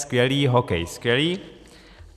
Skvělé, hokej skvělé.